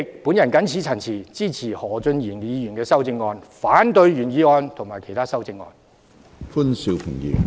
我謹此陳辭，支持何俊賢議員的修正案，反對原議案及其他修正案。